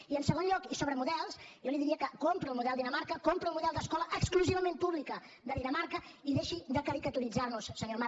i en segon lloc i sobre models jo li diria que compro el model dinamarca compro el model d’escola exclusivament pública de dinamarca i deixi de caricaturitzar nos senyor amat